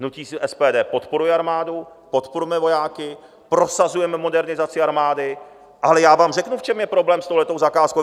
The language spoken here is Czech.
Hnutí SPD podporuje armádu, podporujeme vojáky, prosazujeme modernizaci armády, ale já vám řeknu, v čem je problém s touto zakázkou.